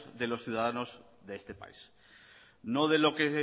de los ciudadanos de este país no de lo que